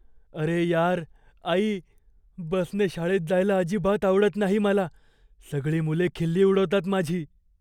अरे यार! आई, बसने शाळेत जायला अजिबात आवडत नाही मला. सगळी मुले खिल्ली उडवतात माझी.